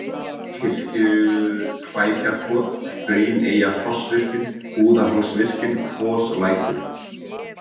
Kirkjuklækjarkot, Hrauneyjafossvirkjun, Búðarhálsvirkjun, Kvoslækur